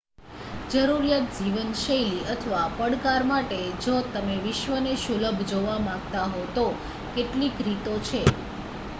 જરૂરિયાત જીવનશૈલી અથવા પડકાર માટે જો તમે વિશ્વને સુલભ જોવા માંગતા હો તો કેટલીક રીતો છે